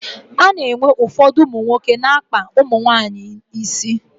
A na-enwe ụfọdụ ụmụ nwoke na-akpa ndị nwaanyị isi.